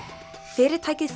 fyrirtækið